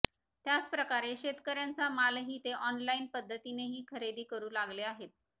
त्याचप्रकारे शेतकर्यांचा मालही ते ऑनलाईन पध्दतीनेही खरेदी करु लागले आहेत